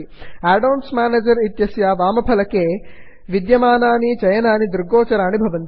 add ons manager add ons manager इत्यस्य वामफलके panel विद्यमानानि चयनानि दृग्गोचराणि भवन्ति